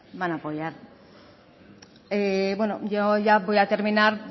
van a apoyar yo ya voy a terminar